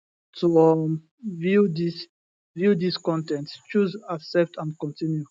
to um view dis view dis con ten t choose accept and continue